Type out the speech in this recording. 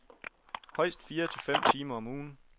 Højest fire til fem timer om ugen.